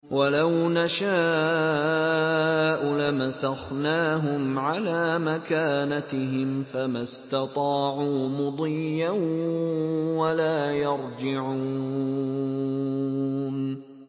وَلَوْ نَشَاءُ لَمَسَخْنَاهُمْ عَلَىٰ مَكَانَتِهِمْ فَمَا اسْتَطَاعُوا مُضِيًّا وَلَا يَرْجِعُونَ